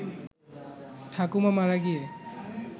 ঠাকুমা মারা গিয়ে